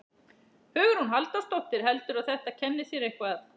Hugrún Halldórsdóttir: Heldurðu að þetta kenni þér eitthvað?